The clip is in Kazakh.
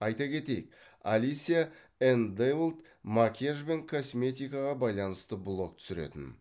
айта кетейік алисия энн дэйволт макияж бен косметикаға байланысты блог түсіретін